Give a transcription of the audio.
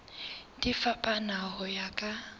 di fapana ho ya ka